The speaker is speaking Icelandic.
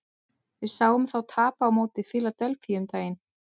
Við sáum þá tapa á móti Fíladelfíu um daginn.